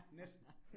Næsten